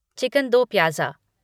chicken do pyaza